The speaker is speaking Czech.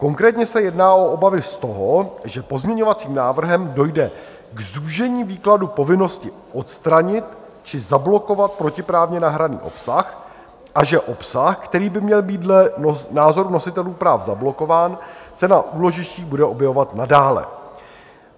Konkrétně se jedná o obavy z toho, že pozměňovacím návrhem dojde k zúžení výkladu povinnosti odstranit či zablokovat protiprávně nahraný obsah a že obsah, který by měl být dle názoru nositelů práv zablokován, se na úložištích bude objevovat nadále.